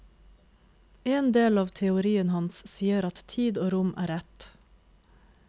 En del av teorien hans sier at tid og rom er ett.